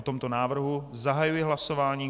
O tomto návrhu zahajuji hlasování.